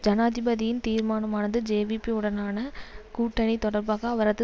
ஜனாதிபதியின் தீர்மானமானது ஜேவிபி உடனான கூட்டனி தொடர்பாக அவரது